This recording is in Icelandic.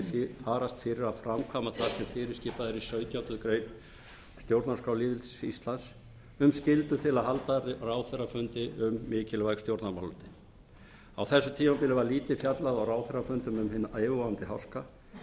farast fyrir að framkvæma samkvæmt fyrirskipað sautjándu grein stjórnarskrá lýðveldisins íslands um skyldu til að halda ráðherrafundi um mikilvæg stjórnarmálefni á þessu tímabili var lítið fjallað á ráðherrafundum um hinn yfirvofandi háska